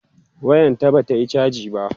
wayan ta Bata Yi chaji ba